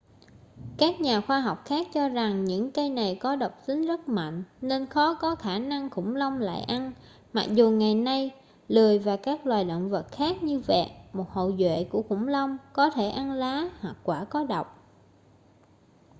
các nhà khoa học khác cho rằng những cây này có độc tính rất mạnh nên khó có khả năng khủng long lại ăn mặc dù ngày nay lười và các loài động vật khác như vẹt một hậu duệ của khủng long có thể ăn lá hoặc quả có độc